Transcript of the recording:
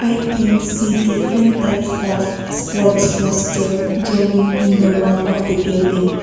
i can see different types of sports poster drawing in the wall of the building.